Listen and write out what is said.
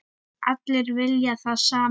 Allir vilja það sama.